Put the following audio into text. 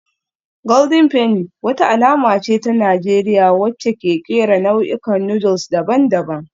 Golden Penny wata alama ce ta Najeriya wacce ke kera nau'ikan noodles daban-daban